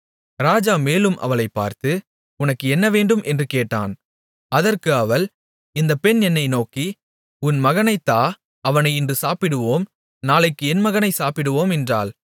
ராஜா மேலும் அவளைப் பார்த்து உனக்கு என்னவேண்டும் என்று கேட்டான் அதற்கு அவள் இந்தப் பெண் என்னை நோக்கி உன் மகனைத் தா அவனை இன்று சாப்பிடுவோம் நாளைக்கு என் மகனைச் சாப்பிடுவோம் என்றாள்